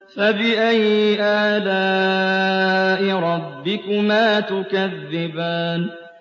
فَبِأَيِّ آلَاءِ رَبِّكُمَا تُكَذِّبَانِ